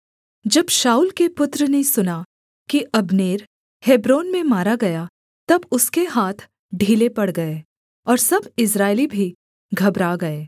जब शाऊल के पुत्र ने सुना कि अब्नेर हेब्रोन में मारा गया तब उसके हाथ ढीले पड़ गए और सब इस्राएली भी घबरा गए